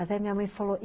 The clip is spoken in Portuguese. Até minha mãe falou.